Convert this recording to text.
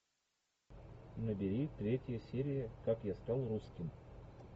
набери третья серия как я стал русским